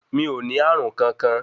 Mi ò ní Ààrùnkankan.